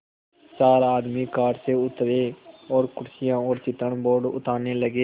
चार आदमी कार से उतरे और कुर्सियाँ और चित्रण बोर्ड उतारने लगे